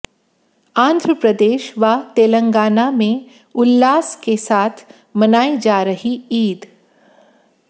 आंध्र प्रदेश व तेलंगाना में उल्लास के साथ मनाई जा रही ईद